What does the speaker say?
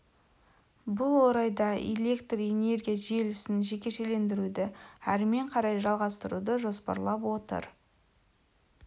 бұл орайда биліктер энергия желісін жекешелендіруді әрмен қарай жалғастыруды жоспарлап отыр